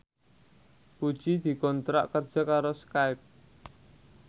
Puji dikontrak kerja karo Skype